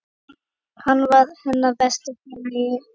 Hann var hennar besti félagi.